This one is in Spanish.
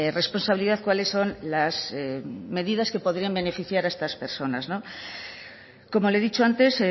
responsabilidad cuáles son las medidas que podrían beneficiar a estas personas como le he dicho antes